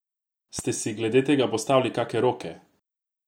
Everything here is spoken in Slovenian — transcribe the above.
Ste si glede tega postavili kake roke?